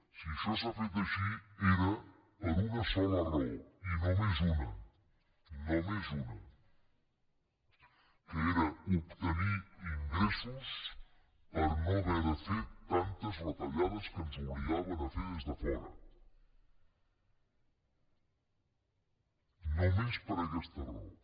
si això s’ha fet així era per una sola raó i només una només una que era obtenir ingressos per no haver de fer tantes retallades que ens obligaven a fer des de fora només per aquesta raó